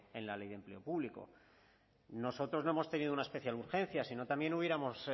en la ley de empleo público nosotros no hemos tenido una especial urgencia sino también hubiéramos